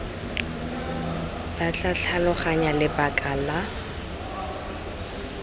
ba tla tlhaloganya lebaka la